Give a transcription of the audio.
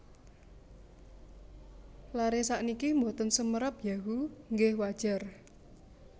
Lare sakniki mboten semerap Yahoo nggeh wajar